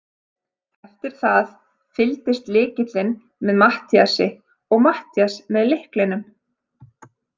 Eftir það fylgdist lykillinn með Matthíasi og Matthías með lyklinum.